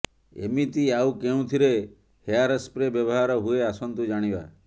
ଏମିତି ଆଉ କେଉଁଥିରେ ହେୟାରସ୍ପ୍ରେ ବ୍ୟବହାର ହୁଏ ଆସନ୍ତୁ ଜାଣିବା